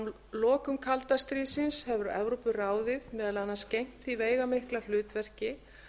frá lokum kalda stríðsins hefur evrópuráðið meðal annars gegnt því veigamikla hlutverki